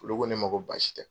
Olu ko ne ma ko baasi tɛ.